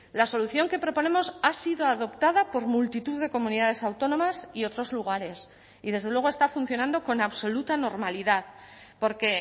la solución que proponemos ha sido adoptada por multitud de comunidades autónomas y otros lugares y desde luego está funcionando con absoluta normalidad porque